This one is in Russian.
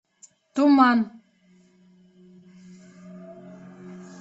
туман